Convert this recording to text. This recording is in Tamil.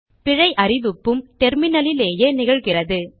பிழை அறிவிப்பும் டெர்மினலிலேயே நிகழ்கிறது